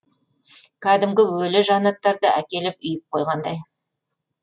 кәдімгі өлі жанаттарды әкеліп үйіп қоғандай